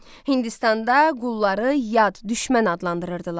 Hindistanda qulları yad düşmən adlandırırdılar.